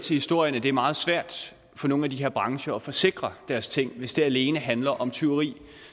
historierne at det er meget svært for nogle af de her brancher at forsikre deres ting hvis det alene handler om tyveri